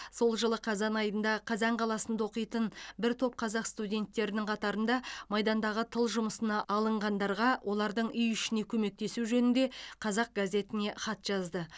сол жылы қазан айында қазан қаласында оқитын бір топ қазақ студенттерінің қатарында майдандағы тыл жұмысына алынғандарға олардың үй ішіне көмектесу жөнінде қазақ газетіне хат жазды